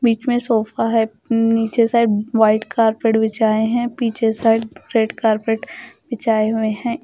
बीच में सोफा है उम्म नीचे साइड व्हाइट कारपेट बिछाए हैं पीछे साइड रेड कारपेट बिछाए हुए हैं।